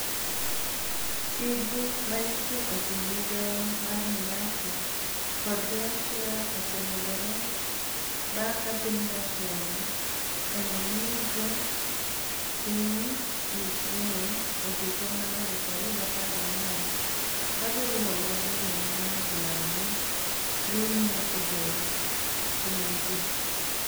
Sigu ma niitie e kinid migao mar niATO kod Russia osemedore banig ' ka piniy Russia ni e omonijo piniy Ukraini e e higa mar 2014 ka giriwo lwedo joma ni e dwaro nii Crimea obed piniygi.